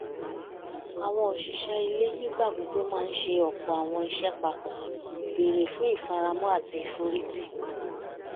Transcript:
àwọn òṣìṣẹ́ ilé nígbà gbogbo máa ń ṣe ọ̀pọ̀ àwọn iṣẹ́ papọ̀ béré fún ìfaramọ́ àti ìforìtì